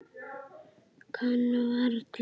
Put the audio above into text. Kann varla.